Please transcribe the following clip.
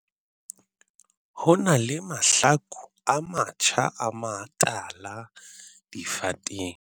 Ho na le mahlaku a matjha a matala difateng.